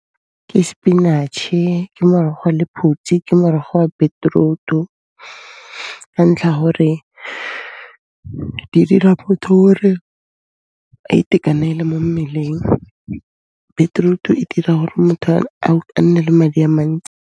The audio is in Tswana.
Ke spinach-e, ke morogo wa lephutsi, ke morogo wa beetroot-u ka ntlha ya gore di dira motho ore a itekanele mo mmeleng, beetroot-u e dira ore motho a nne le madi a mantsi.